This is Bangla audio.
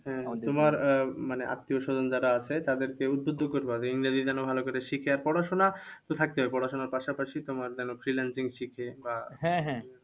হ্যাঁ তোমার আহ মানে আত্মীয়স্বজন যারা আছে তাদের কেউ তো ইংরেজি যেন ভালো করে শেখে। আর পড়াশোনা তো থাকতেই হবে পড়াশোনার পাশাপাশি তোমার যেন freelancing শিখে বা